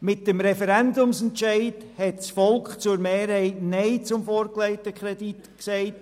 Mit dem Referendumsentscheid hat die Mehrheit des Volks Nein zum vorgelegten Kredit gesagt.